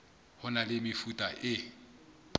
ho na le mefuta e